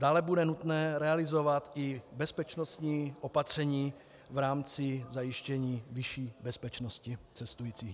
Dále bude nutné realizovat i bezpečnostní opatření v rámci zajištění vyšší bezpečnosti cestujících.